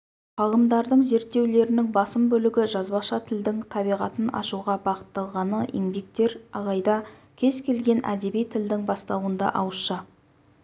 ғалымдардың зерттеулерінің басым бөлігі жазбаша тілдің табиғатын ашуға бағытталғаны еңбектер алайда кез келген әдеби тілдің бастауында ауызша